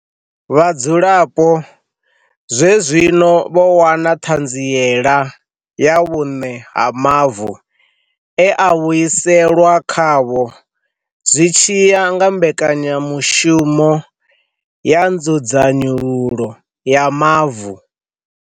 Vhadzulapo zwezwino vho wana ṱhanziela ya vhuṋe ha mavu, e a vhuiselwa khavho zwi tshi ya nga mbekanyamushumo ya nzudzanyululo ya mavu.